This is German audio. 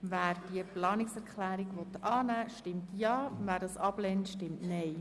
Wer diese Planungserklärung annehmen will, stimmt Ja, wer diese ablehnt, stimmt Nein.